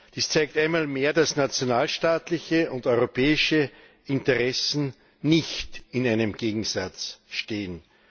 Dies zeigt einmal mehr, dass nationalstaatliche und europäische Interessen nicht in einem Gegensatz stehen.